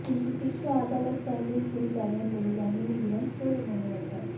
কিন্তু শীর্ষ আদালত চাইলে সরে যাবেন বলে জানিয়ে দিলেন সৌরভ গঙ্গোপাধ্যায়